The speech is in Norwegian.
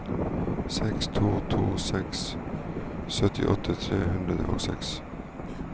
seks to to seks syttiåtte tre hundre og seks